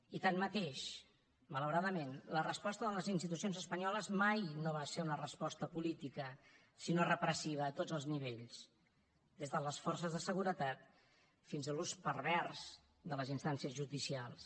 i tanmateix malauradament la resposta de les institucions espanyoles mai no va ser una resposta política sinó repressiva a tots els nivells des de les forces de seguretat fins a l’ús pervers de les instàncies judicials